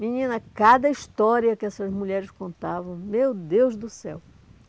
Menina, cada história que essas mulheres contavam, meu Deus do céu!